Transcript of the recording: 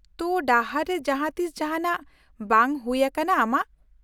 -ᱛᱳ ᱰᱟᱦᱟᱨ ᱨᱮ ᱡᱟᱦᱟᱸᱛᱤᱥ ᱡᱟᱦᱟᱸᱱᱟᱜ ᱵᱟᱝ ᱦᱩᱭ ᱟᱠᱟᱱᱟ ᱟᱢᱟᱜ ?